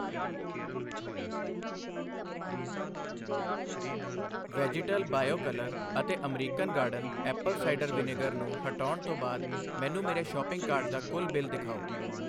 vegetal bio colour ਅਤੇ American garden apple cider vinegar ਨੂੰ ਹਟਾਉਣ ਤੋਂ ਬਾਅਦ ਮੈਨੂੰ ਮੇਰੇ ਸ਼ਾਪਿੰਗ ਕਾਰਟ ਦਾ ਕੁੱਲ ਬਿੱਲ ਦਿਖਾਓI